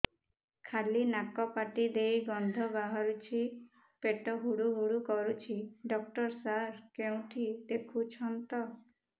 ଖାଲି ନାକ ପାଟି ଦେଇ ଗଂଧ ବାହାରୁଛି ପେଟ ହୁଡ଼ୁ ହୁଡ଼ୁ କରୁଛି ଡକ୍ଟର ସାର କେଉଁଠି ଦେଖୁଛନ୍ତ